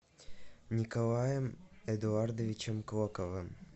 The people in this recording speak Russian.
николаем эдуардовичем клоковым